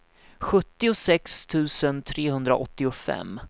sjuttiosex tusen trehundraåttiofem